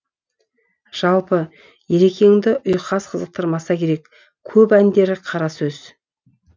жалпы ерекеңді ұйқас қызықтырмаса керек көп әндері қара сөз